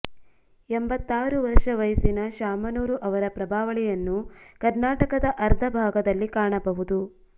ಎಂಬತ್ತಾರು ವರ್ಷ ವಯಸ್ಸಿನ ಶಾಮನೂರು ಅವರ ಪ್ರಭಾವಳಿಯನ್ನು ಕರ್ನಾಟಕದ ಅರ್ಧ ಭಾಗದಲ್ಲಿ ಕಾಣಬಹುದು